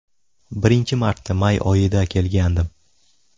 Birinchi marta may oyida kelgandim.